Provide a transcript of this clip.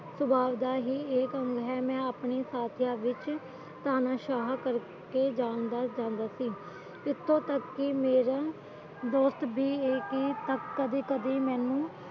ਸਵਾਲ ਦਾ ਹੀ ਇਹ ਸੀਨ ਹੈ ਮੈਂ ਆਪਣੀ ਸਾਥੀਆਂ ਵਿੱਚ ਤੁਹਾਨੂੰ ਸ੍ਵਾਹਾ ਕਰਕੇ ਜਾਂਦਾ ਸੀ ਇਥੋਂ ਤੱਕ ਕਿ ਮੇਰੀ ਦੋਸਤ ਵੀ ਕਦੇ ਕਦੇ ਮੈਨੂੰ